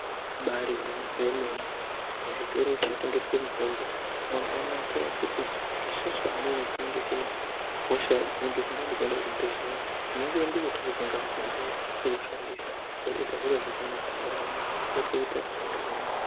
Ibairi gwinyiso yemene muzvitoro zvino tengeswe mutombo mwakanakira kuti isusu amweni tinenge tine hosha dzinenge dzisingadi kuenda kuzvibhedhlera tinongo endeyo tonotenga mitombo yedu totoushandisa zvotoita zviro zvakanaka ndaramo zviro zvakanaka ndaramo yotoita yakanaka.